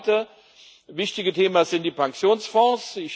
Das zweite wichtige Thema sind die Pensionsfonds.